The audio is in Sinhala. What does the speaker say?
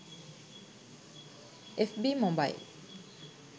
fb mobile